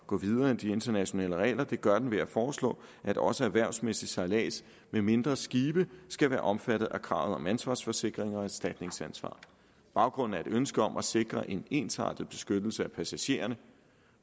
gå videre end de internationale regler det gør den ved at foreslå at også erhvervsmæssig sejlads med mindre skibe skal være omfattet af kravet om ansvarsforsikring og erstatningsansvar baggrunden er et ønske om at sikre en ensartet beskyttelse af passagererne